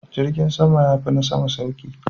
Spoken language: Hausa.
Jirgin kasa yafi na sama sauki.